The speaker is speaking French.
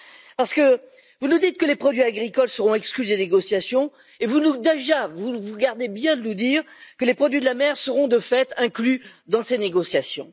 Parce que vous nous dites que les produits agricoles seront exclus des négociations et vous vous gardez bien de nous dire que les produits de la mer seront de fait inclus dans ces négociations.